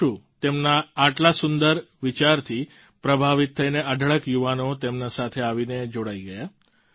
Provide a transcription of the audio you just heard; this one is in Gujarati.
પછી શું તેમના આટલા સુંદર વિચારથી પ્રભાવિત થઈને અઢળક યુવાનો તેમની સાથે આવીને જોડાઈ ગયા